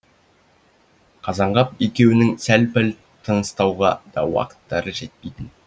қазанғап екеуінің сәл пәл тыныстауға да уақыттары жетпейтін